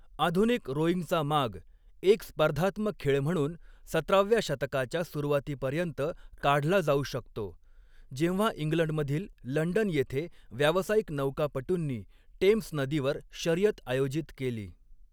आधुनिक रोइंगचा माग एक स्पर्धात्मक खेळ म्हणून सतराव्या शतकाच्या सुरुवातीपर्यंत काढला जाऊ शकतो, जेव्हा इंग्लंडमधील लंडन येथे व्यावसायिक नौकापटूंनी टेम्स नदीवर शर्यत आयोजित केली.